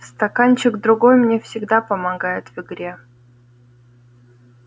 стаканчик другой мне всегда помогает в игре